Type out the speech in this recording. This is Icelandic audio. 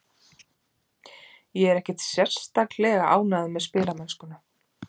Ég er ekkert sérstaklega ánægður með spilamennskuna.